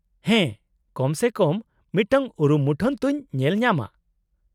-ᱦᱮᱸ, ᱠᱚᱢ ᱥᱮ ᱠᱚᱢ ᱢᱤᱫᱴᱟᱝ ᱩᱨᱩᱢ ᱢᱩᱴᱷᱟᱹᱱ ᱛᱚᱧ ᱧᱮᱞ ᱧᱟᱢᱟ ᱾